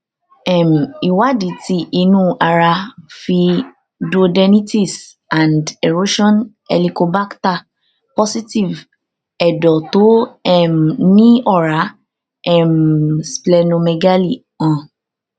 um ìwádìí ti inu ara fi duodenitis and erosion helicobacter positive edo to um ni ora um splenomegaly han